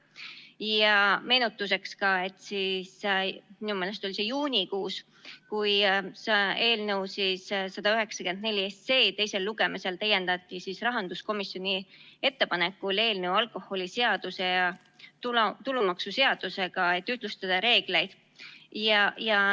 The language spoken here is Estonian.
Ja meenutuseks veel, et minu meelest oli see juunikuus, kui eelnõu 194 täiendati teisel lugemisel rahanduskomisjoni ettepanekul alkoholiseaduse ja tulumaksuseadusega, et ühtlustada reegleid.